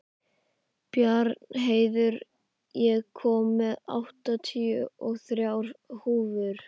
Bjarnheiður, ég kom með áttatíu og þrjár húfur!